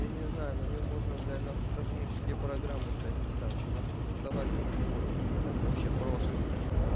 я не знаю на нём можно блядь нахуй космические программы блядь писать просто создавать всё что хочешь ебать вообще просто блядь